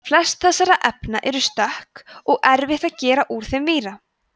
flest þessara efna eru stökk og erfitt að gera úr þeim víra